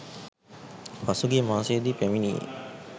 පසුගිය මාසයේදී පැමිණියේ